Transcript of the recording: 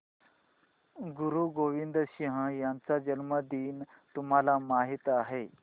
गुरु गोविंद सिंह यांचा जन्मदिन तुम्हाला माहित आहे